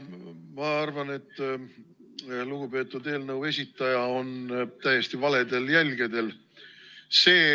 Ma arvan, et lugupeetud eelnõu esitaja on täiesti valedel jälgedel.